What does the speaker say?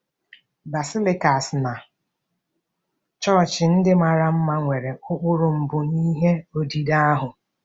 Basilicas na chọọchị ndị mara mma nwere ụkpụrụ mbụ n'ihe odide ahụ?